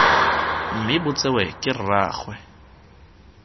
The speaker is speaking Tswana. mme bo tsewe ke rraagwe